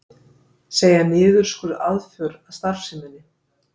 Segja niðurskurð aðför að starfseminni